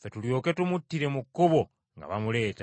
Ffe tulyoke tumuttire mu kkubo nga bamuleeta.”